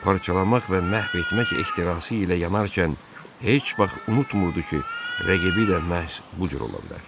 Parçalamaq və məhv etmək ehtirası ilə yanarkən heç vaxt unutmurdu ki, rəqibi də məhz bu cür ola bilər.